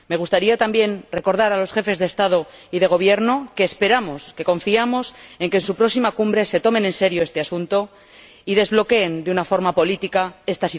Me gustaría también recordar a los Jefes de Estado y de Gobierno que esperamos, que confiamos en que en su próxima Cumbre se tomen en serio estos asuntos y desbloqueen de una forma política esta situación.